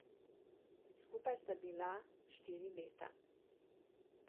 Skupaj sta bila štiri leta.